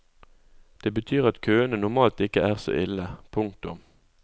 Det betyr at køene normalt ikke er så ille. punktum